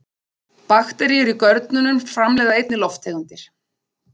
Bakteríur í görnunum framleiða einnig lofttegundir.